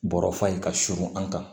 Bɔrɔfan in ka surun an kan